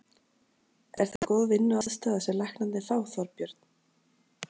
Er þetta góð vinnuaðstaða sem læknarnir fá, Þorbjörn?